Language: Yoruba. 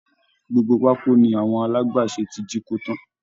Gbogbo pákó ni àwọn alágbàṣe ti jíkó tán